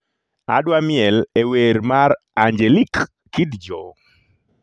Adwa miel e wer mar Angelique Kidjo